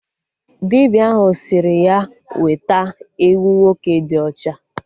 Dibịa ahụ sịrị ya weta ewu nwoke dị ọcha